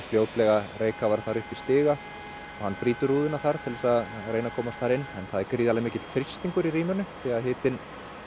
fljótlega reykkafara þar upp í stiga og hann brýtur rúðuna þar til þess að komast inn en það er gríðarlega mikill þrýstingur í rýminu því hitinn